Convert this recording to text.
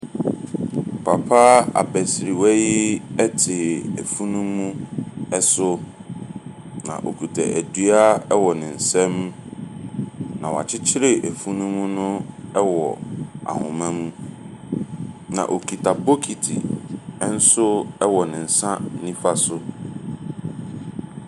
Papa abasirwa yi te afunumu so, na okita dua wɔ ne nsam. Na wakyekyere afunumu no wɔ ahoma mu. Na okita bokiti nso wɔ ne nsa nifa so.